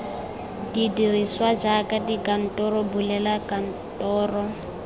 dirisiwa jaaka dikantoro bulela kantoro